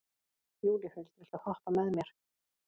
Júlíhuld, viltu hoppa með mér?